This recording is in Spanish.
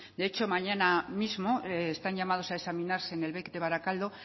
de hecho mañana mismo están llamados a examinarse en el bec de barakaldo